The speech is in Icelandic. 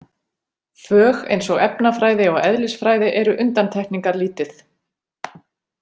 Fög eins og efnafræði og eðlisfræði eru undantekingarlítið.